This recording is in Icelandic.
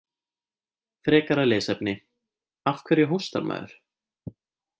Frekara lesefni: Af hverju hóstar maður?